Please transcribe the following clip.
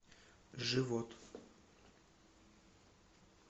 живот